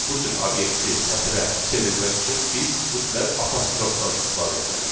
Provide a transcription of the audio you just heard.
Bu cür obyekti sətrə çevirmək üçün biz mütləq apostrofdan istifadə etməliyik.